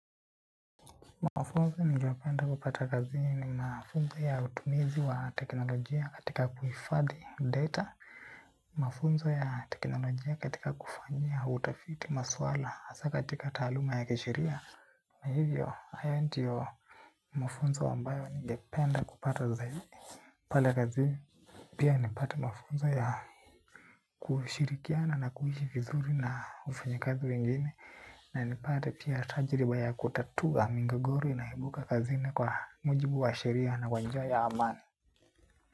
Mafunzo ningeyopenda kupata kazini mafunzo ya utumizi wa teknolojia katika kuhifadhi data, mafunzo ya teknolojia katika kufanyia, utafiti, maswala, hasaa katika taluma ya kisheria. Kwa hivyo, hayo ntio mafunzo ambayo ningependa kupata zaizi. Pale kazini pia nipate mafunzo ya kushirikiana na kuishi vizuri na wafanyikazi wengine. Na nipate pia tajriba ya kutatua migogoro inayoibuka kazini kwa mujibu wa sheria na kwa njia ya amani.